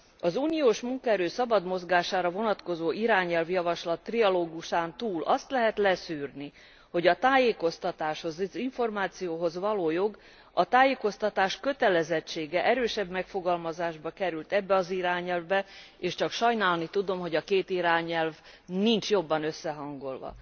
Az uniós munkaerő szabad mozgására vonatkozó irányelvjavaslat trialógusán túl azt lehet leszűrni, hogy a tájékoztatáshoz, az információhoz való jog, a tájékoztatás kötelezettsége erősebb megfogalmazásban került ebbe az irányelvbe, és csak sajnálni tudom, hogy a két irányelv nincs jobban összehangolva.